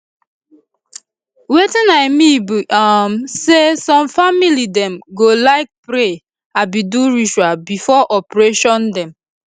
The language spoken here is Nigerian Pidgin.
wetin i mean be um say some family dem go like pray abi do ritual before operation dem